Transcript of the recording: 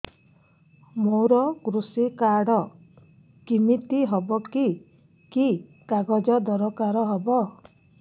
ମୋର କୃଷି କାର୍ଡ କିମିତି ହବ କି କି କାଗଜ ଦରକାର ହବ